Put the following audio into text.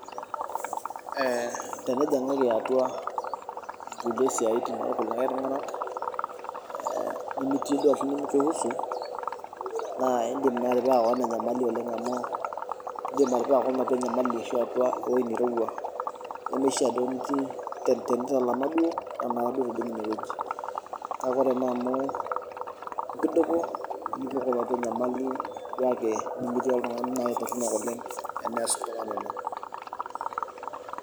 Ee teniningaku atua nkulie siatin oltungani nimikiusu na indim atipika keon ashu enyamali ashi ewoi nairowuo kake ore amu impidoko nijing oltungani na toronok oleng